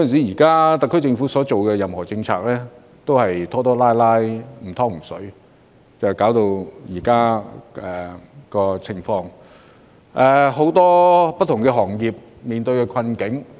現時，特區政府在施政方面，總是拖拖拉拉、"唔湯唔水"的，致使出現目前的困局。